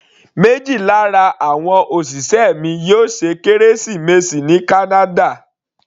Méjì lára àwọn òṣìṣẹ́ mi yóò ṣe kérésìmesì ní kánádà.